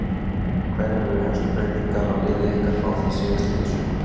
Hverjar eru helstu breytingar á liði ykkar frá því síðastliðið sumar?